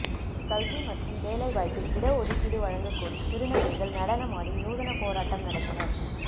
கல்வி மற்றும் வேலை வாய்ப்பில் இட ஒதுக்கீடு வழங்கக் கோரி திருநங்கைகள் நடனமாடி நூதன போராட்டம் நடத்தினர்